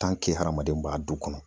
hadamaden b'a du kɔnɔ ,